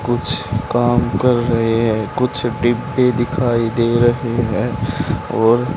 कुछ काम कर रहे हैं कुछ डिब्बे दिखाई दे रहे हैं और--